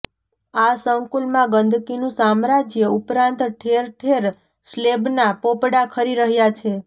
આ સંકુલમાં ગંદકીનુ સામ્રાજય ઉપરાંત ઠેર ઠેર સ્લેબના પોપડા ખરી રહ્યા છે